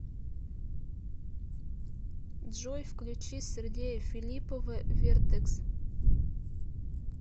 джой включи сергея филиппова вертэкс